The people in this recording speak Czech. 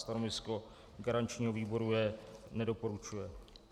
Stanovisko garančního výboru je nedoporučující.